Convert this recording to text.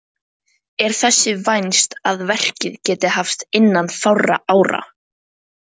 Er þess vænst að verkið geti hafist innan fárra ára.